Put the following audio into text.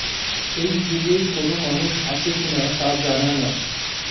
এই যুগে কোনো মানুষ আছে কিনা তা জানা না